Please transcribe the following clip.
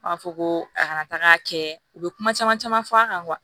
An b'a fɔ ko a kana taga kɛ u bɛ kuma caman caman fɔ a kan kuwa